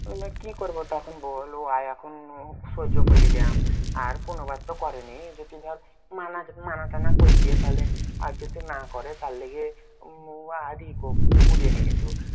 মানে কি করবো তা এখন বল? উয়া এখন সহ্য করে নিলাম। আর কোনো বার তো করেনি। যদি ভাব মানা মানা টানা কর দিয়ে তাহলে আর যদি না করে, তার লেগে উম আর ই কর বলিনি কিছু।